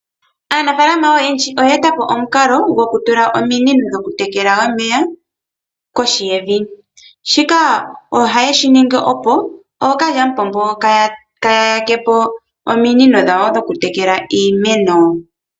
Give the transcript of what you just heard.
Aanafaalama oyendji oye eta po omukalo goku tula ominino dhoku tekela omeya kohi yevi. Shika oha yeshi ningi opo kookalyampombo kaaya yakepo ominino dhawo dhoku tekela iimeno.